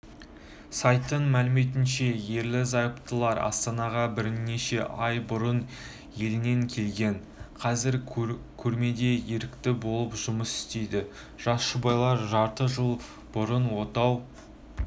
сайттың мәліметінше ерлі-зайыптылар астанаға бірнеше ай бұрын елінен келген қазір көрмеде ерікті болып жұмыс істейді жас жұбайлар жарты жыл бұрын отау